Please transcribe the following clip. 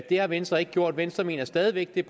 det har venstre ikke gjort venstre mener stadig væk det